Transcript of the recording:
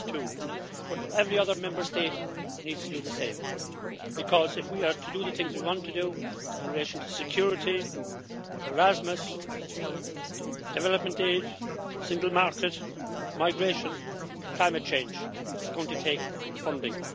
1.2. But every other Member State needs to do the same, because if we are to do the things we want to do in relation to security, Erasmus, development aid, the single market, migration or climate change, it is going to take funding.